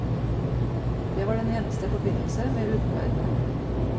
Det var den eneste forbindelse med utenverdenen.